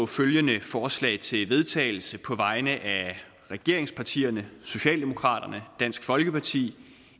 følgende forslag til vedtagelse på vegne af regeringspartierne socialdemokraterne dansk folkeparti